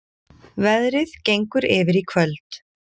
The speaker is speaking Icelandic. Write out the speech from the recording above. Veðrið gengur yfir í kvöld